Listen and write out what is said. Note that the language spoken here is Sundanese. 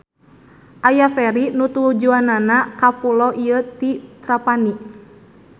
Aya feri nu tujuanna ka pulo ieu ti Trapani.